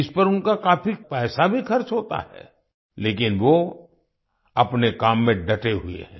इस पर उनका काफी पैसा भी खर्च होता है लेकिन वो अपने काम में डटे हुए हैं